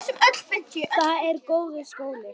Það er góður skóli.